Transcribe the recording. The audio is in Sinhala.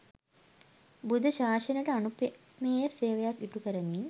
බුද්ධ ශාසනයට අනූපමේය සේවයක් ඉටු කරමින්